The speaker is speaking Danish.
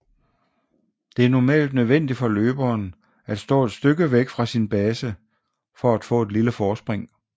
Det er normalt nødvendigt for løberen at stå et stykke væk fra sin base for at få et lille forspring